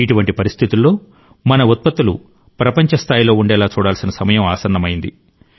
ఇటువంటి పరిస్థితుల్లో మన ఉత్పత్తులు ప్రపంచ స్థాయిలో ఉండేలా చూడాల్సిన సమయం ఆసన్నమైంది